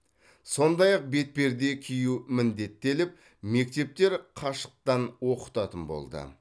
сондай ақ бетперде кию міндеттеліп мектептер қашықтан оқытатын болды